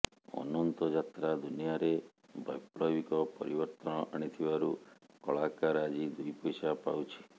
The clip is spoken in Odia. ଅନନ୍ତ ଯାତ୍ରା ଦୁନିଆରେ ବୈପ୍ଳବିକ ପରିବର୍ତ୍ତନ ଆଣିଥିବାରୁ କଳାକାର ଆଜି ଦୁଇ ପଇସା ପାଉଛି